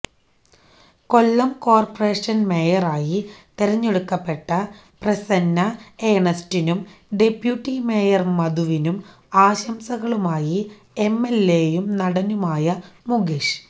കൊല്ലം corporation മേയറായി തെരഞ്ഞെടുക്കപെട്ട പ്രസന്ന ഏണസ്റ്റിനും ഡെപ്യൂട്ടി മേയർ മധുവിനും ആശംസകളുമായി എം എൽ എയും നടനുമായ മുകേഷ്